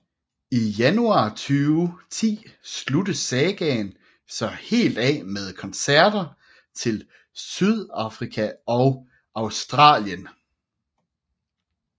I januar 2010 sluttes sagaen så helt af med koncerter til Sydafrika og Australien